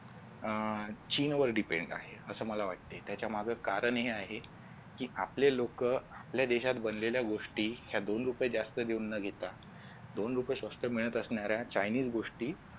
अह चीनवर depend आहे असं मला वाटते त्याच्या माग कारण हे आहे कि आपले लोक आपल्या देशात बनलेल्या गोष्टी ह्या दोन रुपयात जास्त देऊन न घेता दोन गोष्टी जास्त मिळत असणाऱ्या Chinese गोष्टी